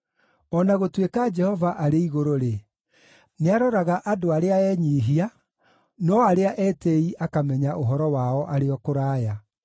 O na gũtũĩka Jehova arĩ igũrũ-rĩ, nĩaroraga andũ arĩa enyiihia, no arĩa etĩĩi akamenya ũhoro wao arĩ o kũraya.